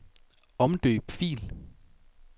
Omdøb fil.